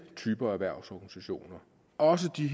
typer af erhvervsorganisationer og også de